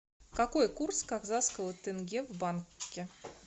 какой курс казахского тенге в банке